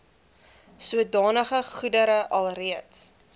sodanige goedere alreeds